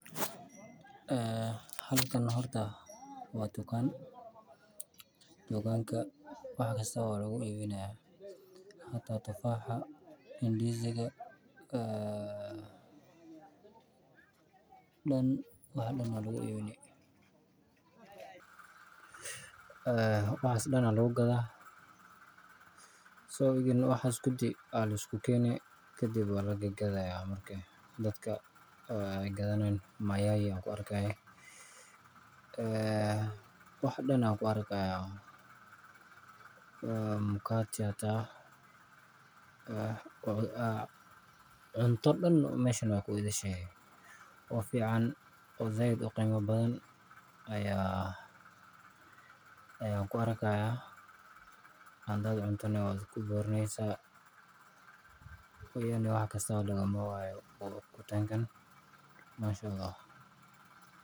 Halkan neh hortaa waa tukaan , tukaanka wax kasta waa laguiibinaya hata tufaaxa inidisga wax dan ayaa laguiibinaya waxaas dan ayaa lagugadhaa so, egen waxas kudi ayaa liskukeene kadib ayaa lagadgadhaya marka dadka weygadhanayaan, mayai ayaan kuarkihaya wax dan ayaan kuarkihayaa mkate hata cunto dan meshan wey kuidhishahe oo fican oo zaid uqima badhan ayaan kuarkihaya hadaad cunto neh waad kuburaneysa, meshan wax kastabo lagamawaayo tukaankan mashaAllah.